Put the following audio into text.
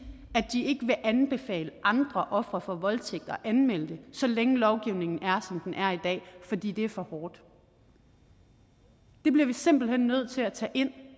at anbefale andre ofre for voldtægt at anmelde det så længe lovgivningen er som den er i dag fordi det er for hårdt det bliver vi simpelt hen nødt til at tage ind